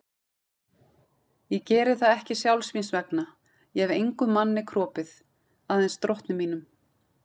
Ég geri það ekki sjálfs mín vegna, ég hef engum manni kropið, aðeins drottni mínum.